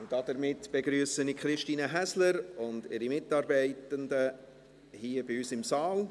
Damit begrüsse ich Christine Häsler und ihre Mitarbeitenden hier bei uns im Saal.